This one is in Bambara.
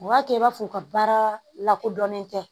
U b'a kɛ i b'a fɔ u ka baara lakodɔnnen tɛ